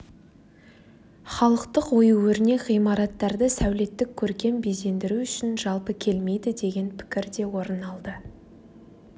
халықтық ою-өрнек ғимараттарды сәулеттік-көркем безендіру үшін жалпы келмейді деген пікір де орын алды